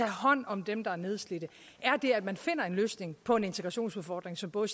hånd om dem der er nedslidte er at man finder en løsning på en integrationsudfordring som både